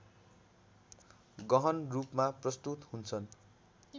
गहनरूपमा प्रस्तुत हुन्छन्